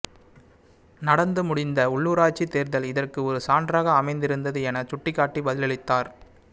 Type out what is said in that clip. நடந்து முடிந்த உள்ளுராட்சி தேர்தல் இதற்கு ஒரு சான்றாக அமைந்திருந்தது என சுட்டிக்காட்டி பதிலளித்தார்